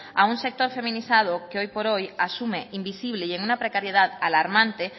a un sector feminizado que hoy por hoy asume invisible y en una precariedad alarmante